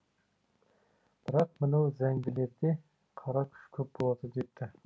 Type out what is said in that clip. бірақ мынау зәңгілерде қара күш көп болады депті